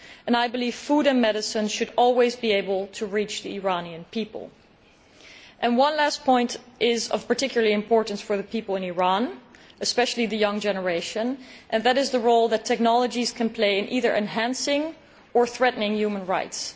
I believe food and medicine should always be able to reach the Iranian people. One last point that is of particular importance for the people in Iran, especially the young generation, and that is the role that technologies can play in either enhancing or threatening human rights.